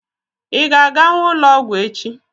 Ị ga-aganwu ụlọọgwụ echi?